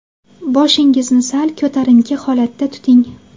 Boshingizni sal ko‘tarinki holatda tuting.